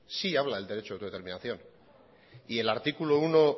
sí habla del derecho de autodeterminación y el articulo uno